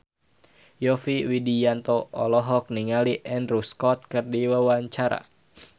Yovie Widianto olohok ningali Andrew Scott keur diwawancara